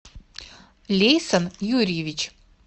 лейсан юрьевич